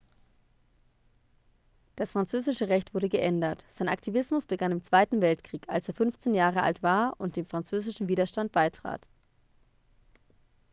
das französische recht wurde geändert sein aktivismus begann im zweiten weltkrieg als er 15 jahre alt war und dem französischen widerstand beitrat